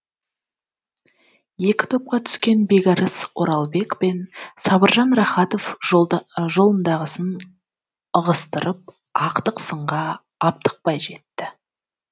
екі топқа түскен бекарыс оралбек пен сабыржан рахатов жолындағысын ығыстырып ақтық сынға аптықпай жетті